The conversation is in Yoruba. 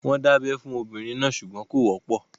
Wọ́n ń dábẹ́ fún obìnrin náà ṣùgbọ́n kò wọ́pọ̀.